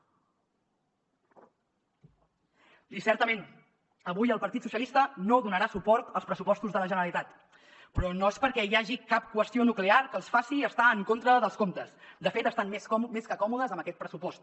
i certament avui el partit socialistes no donarà suport als pressupostos de la generalitat però no és perquè hi hagi cap qüestió nuclear que els faci estar en contra dels comptes de fet estan més que còmodes amb aquest pressupost